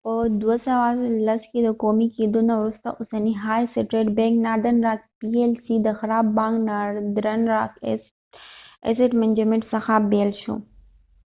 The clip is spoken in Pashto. په 2010 کې د قومي کېدو نه وروسته اوسنی های سټریټ بینک ناردن راک پی ایل سی د خراب بانک ناردرن راک ایسیټ منجمنټ څخه بیل شو